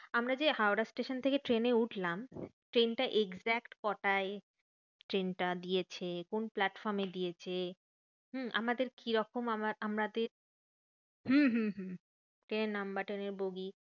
আমরা যে হাওড়া স্টেশন থেকে ট্রেনে উঠলাম, ট্রেনটা exact কটায়? ট্রেনটা দিয়েছে কোন প্লাটফর্মে দিয়েছে? হম আমাদের কি রকম আমার আমাদের হম হম হম bogie.